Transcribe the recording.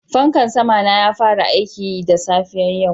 Fankan sama na ya fara aiki da safiyar yau